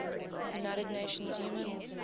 united nations human